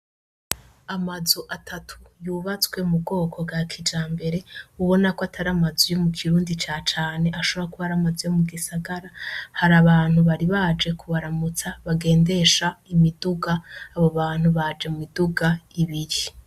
Amazu atatu yubatswe mubwoko bwa kijambere, ubona ko atar'amazu yo mukirundi ca cane ,ashobora kuba ar'amazu yo mugisagara, har'abantu bari baje kubaramutsa bagendesha imiduga, abo bantu baje mumiduga ibiri.